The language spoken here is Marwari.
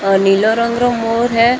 ए नीला रंग का मोर है।